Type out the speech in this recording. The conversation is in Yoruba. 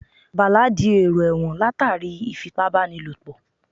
Bàlá di èrò ẹ̀wọ̀n látàrí ìfipábánilòpọ̀